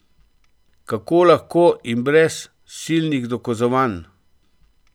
Kako lahko in brez silnih dokazovanj.